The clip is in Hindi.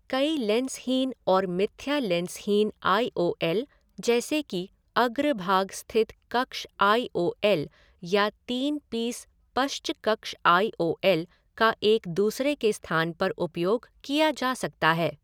कई लेंसहीन और मिथ्या लेंसहीन आई ओ एल, जैसे कि अग्रभाग स्थित कक्ष आई ओ एल या तीन पीस पश्च कक्ष आई ओ एल, का एक दूसरे के स्थान पर उपयोग किया जा सकता है।